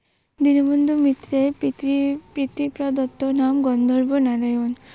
দীনবন্ধু মিত্রের পিতৃ প্রদত্ত নাম গন্ধর্ব নারায়ন।